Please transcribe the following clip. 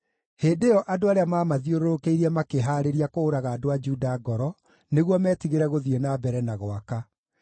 Hĩndĩ ĩyo andũ arĩa maamathiũrũrũkĩirie makĩhaarĩria kũũraga andũ a Juda ngoro nĩguo metigĩre gũthiĩ na mbere na gwaka.